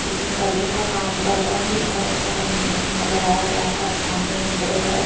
इसमें पर्दों का काम पर्दा भी बोहोत अच्छा रंग डंग लगाया गया है ओर सामने एक बेड है।